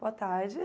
Boa tarde.